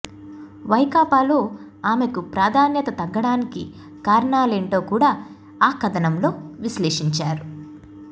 వైకాపాలో ఆమెకు ప్రాధాన్యత తగ్గడానికి కారణలేంటో కూడా ఆ కథనంలో విశ్లేషించారు